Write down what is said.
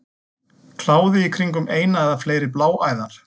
Kláði í kringum eina eða fleiri bláæðar.